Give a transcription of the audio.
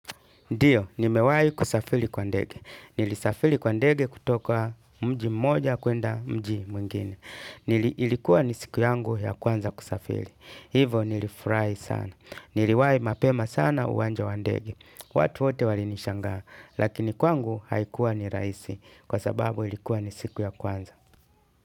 Ndiyo, nimewai kusafili kwa ndege. Nilisafili kwa ndege kutoka mji mmoja kuenda mji mwingine. Nilikuwa ni siku yangu ya kwanza kusafili. Hivo nilifurai sana. Niliwai mapema sana uwanja wa ndege. Watu wote wali nishangaa. Lakini kwa ngu haikuwa ni raisi. Kwa sababu ilikuwa ni siku ya kwanza.